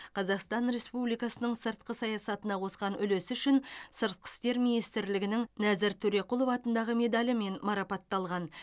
қазақстан республикасының сыртқы саясатына қосқан үлесі үшін сыртқы істер министрлігінің нәзір төреқұлов атындағы медалімен марапатталған